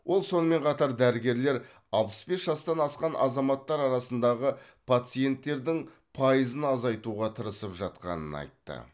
ол сонымен қатар дәрігерлер алпыс бес жастан асқан азаматтар арасындағы пациенттердің пайызын азайтуға тырысып жатқанын айтты